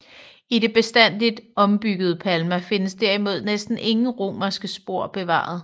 I det bestandigt ombyggede Palma findes derimod næsten ingen romerske spor bevaret